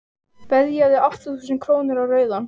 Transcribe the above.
veðjaðu átta þúsund króna á rauðan